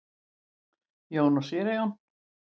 Jón og séra Jón.